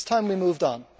It is time we moved on.